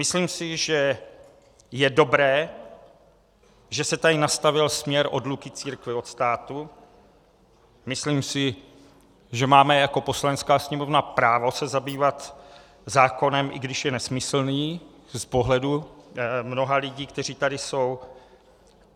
Myslím si, že je dobré, že se tady nastavil směr odluky církve od státu, myslím si, že máme jako Poslanecká sněmovna právo se zabývat zákonem, i když je nesmyslný z pohledu mnoha lidí, kteří tady jsou.